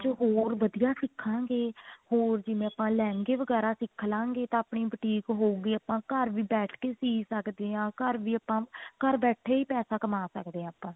ਆਪਾਂ ਜੋ ਹੋਰ ਵਧੀਆ ਸਿਖਾਂਗੇ ਹੋਰ ਜਿਵੇਂ ਆਪਾਂ ਲਹਿੰਗੇ ਵਗੇਰਾ ਸਿੱਖ ਲਾਂਗੇ ਤਾਂ ਆਪਣੀ boutique ਹੋਊਗੀ ਆਪਾਂ ਘਰ ਵੀ ਬੈਠ ਕੇ ਸੀ ਸੱਕਦੇ ਹਾਂ ਘਰ ਵੀ ਆਪਾਂ ਘਰ ਬੈਠੇ ਹੀ ਪੈਸਾ ਕਮਾ ਸਕਦੇ ਹਾਂ ਆਪਾਂ